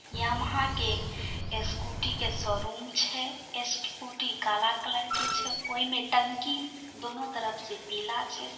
Yamaha के scooty के showroom छै स्कूटी काला कलर के छै ओय मे टंकी दोनो तरफ से पीला छै।